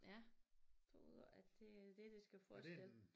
Ja tror at det er det det skal forestille